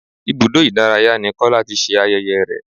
Ibùdó ìdárayá ni kola ti ṣe ayẹyẹ rẹ̀